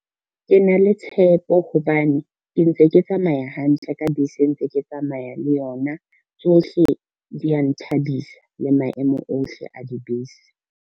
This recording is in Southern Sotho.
Ke na le tshepo hobane, ke ntse ke tsamaya hantle ka bese ntse ke tsamaya le yona, tsohle dia nthabisa le maemo ohle a dibese.